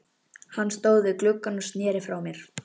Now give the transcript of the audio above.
Hann stóð við gluggann og sneri frá mér.